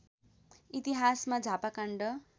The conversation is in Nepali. इतिहासमा झापा काण्ड